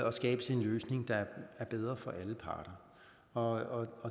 og skabes en løsning der er bedre for alle parter og